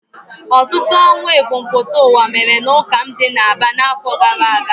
Ọtụtụ ọnwụ ebumpụta ụwa mere n'ụka m dị n'Aba n'afọ gara aga.